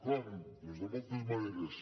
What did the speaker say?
com doncs de moltes maneres